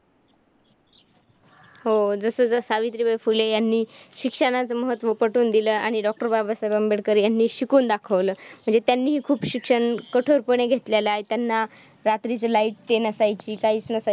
हो, जसजसं सावित्रीबाई फुले यांनी शिक्षणाचं महत्त्व पटवून दिलं आणि डॉ. बाबासाहेब आंबेडकर यांनी शिकवून दाखवलं. म्हणजे त्यांनीही शिक्षण खूप कठोरपणे घेतलेलं आहे. त्यांना रात्रीचं light ते नसायची. काहीचं नसायचं.